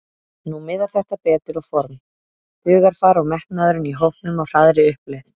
Nú miðar þetta betur og form, hugarfar og metnaðurinn í hópnum á hraðri uppleið.